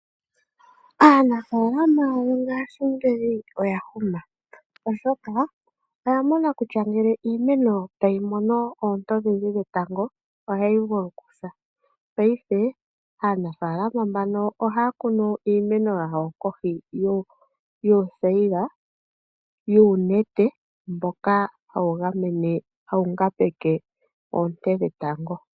Aanafaalama yongaashingeyi oyahuma oshoka oyamona kutya ngele iimeno tayi mono oonte odhindji dhetango ohayi vulu okusa, paife aanafaalama mbano ohaakunu iimeno yawo kohi yuuthayila yuunete mboka hawu ngambekwa oonte dhetango.